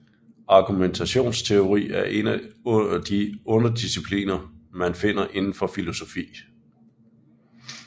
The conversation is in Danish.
Argumentationsteori er en af de underdiscipliner man finder inden for filosofi